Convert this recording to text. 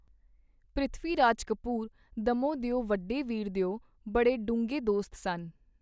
ਪ੍ਰਿਥਵੀ ਰਾਜ ਕਪੂਰ ਦੱਮੋਂ ਦਿਓ ਵਡੇ ਵੀਰ ਦਿਓ ਬੜੇ ਡੂੰਘੇ ਦੋਸਤ ਸਨ.